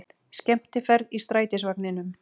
Skemmtiferð í strætisvagninum